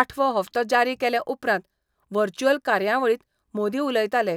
आठवो हप्तो जारी केले उपरांत व्हर्चुअल कार्यावळींत मोदी उलयताले.